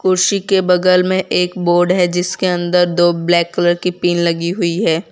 कुर्सी के बगल में एक बोर्ड है जिसके अंदर दो ब्लैक कलर की पीन लगी हुई है।